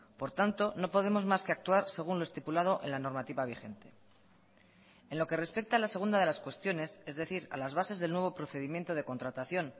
por tanto no podemos más que actuar según lo estipulado en la normativa vigente en lo que respecta a la segunda de las cuestiones es decir a las bases del nuevo procedimiento de contratación